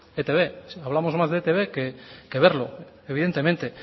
e i te be si hablamos más de e i te be que verlo evidentemente